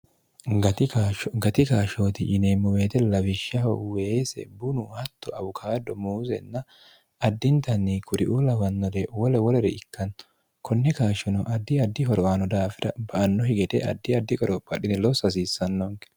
gati kaashshooti yineemmo weete lawishshaho weese bunu hatto awukaado muuseenna addintanni kuriuu lawannore wole wolere ikkanno konne kaashshono addi addi horoaano daafira ba anno higete addi addi qorophaadhine loosso hasiissannoonke